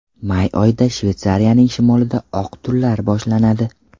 May oyida Shveysariyaning shimolida oq tunlar boshlanadi.